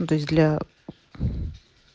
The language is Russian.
для